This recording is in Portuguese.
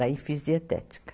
Daí fiz dietética.